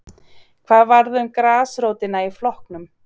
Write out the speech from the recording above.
Hvað varð um grasrótina í flokknum?